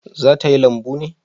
Za ta yi lambu ne?